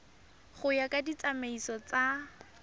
go ya ka ditsamaiso tsa